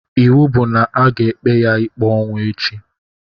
Ịwụ bụ na-aga ekpe ya ikpe ọnwụ echi